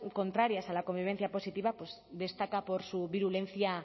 contrarias a la convivencia positiva pues destaca por su virulencia